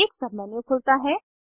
एक submenu खुलता है